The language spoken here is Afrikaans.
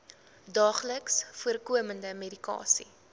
daagliks voorkomende medikasie